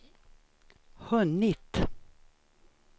hunnit